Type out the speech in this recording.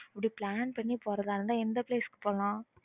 அப்பிடி plan பண்ணி போறதா இருந்தா எந்த place போலாம்